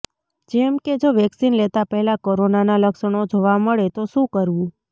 જેમ કે જો વેક્સિન લેતા પહેલા કોરોનાનાં લક્ષણો જોવા મળે તો શું કરવું